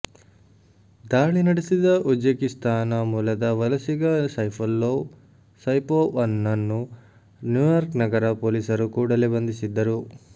ದಾಳಿ ನಡೆಸಿದ ಉಜ್ಬೆಕಿಸ್ತಾನ ಮೂಲದ ವಲಸಿಗ ಸೈಫುಲ್ಲೋ ಸೈಪೋವ್ ನನ್ನು ನ್ಯೂಯಾರ್ಕ್ ನಗರ ಪೋಲೀಸರು ಕೂಡಲೇ ಬಂಧಿಸಿದ್ದರು